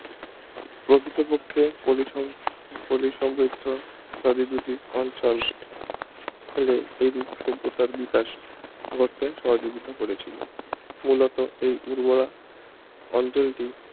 প্রকৃতপক্ষে পলি সমৃ ~ পলি সমৃদ্ধ ইত্যাদি দুটি অঞ্চল হেলে এইরূপ সভ্যতার বিকাশ ঘটতে সহযোগিতা করেছিল মূল এই উর্বরা অঞ্চলটি